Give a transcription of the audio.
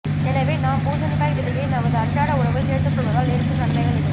எனவே நாம் பூசணிக்காய் விதையை நமது அன்றாட உணவில் சேர்த்துக் கொள்வதால் ஏற்படும் நன்மைகள் இதோ